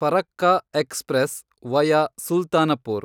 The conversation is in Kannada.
Farakka express, via Sultanpur